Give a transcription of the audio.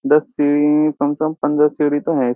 दस सीढ़ी कम से कम पंद्रह सीडी तो है।